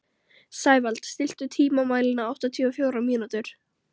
Sævald, stilltu tímamælinn á áttatíu og fjórar mínútur.